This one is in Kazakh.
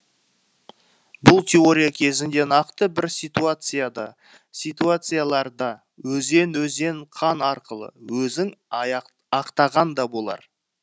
бұл теория кезінде нақты бір ситуацияда ситуацияларда өзен өзен қан арқылы өзін ақтаған да болар